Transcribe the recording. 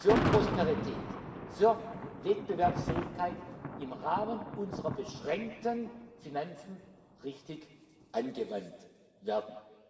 für Prosperität, für Wettbewerbsfähigkeit im Rahmen unserer beschränkten Finanzen richtig angewendet werden.